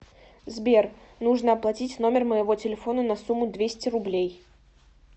сбер нужно оплатить номер моего телефона на сумму двести рублей